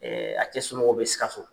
a cɛ somɔgɔw bɛ Sikaso.